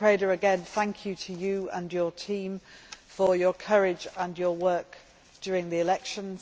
Mr Preda, again, thank you to you and your team for your courage and your work during the elections.